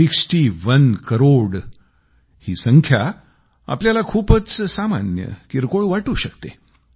sixty one crore ही संख्या आपल्याला खूपच सामान्य किरकोळ वाटू शकते